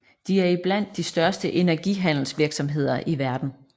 De er er i blandt de største energihandelsvirksomheder i verden